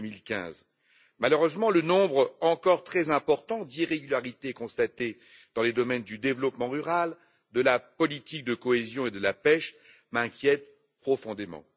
2015. Malheureusement, le nombre encore très important d'irrégularités constatées dans les domaines du développement rural, de la politique de cohésion et de la pêche m'inquiète profondément.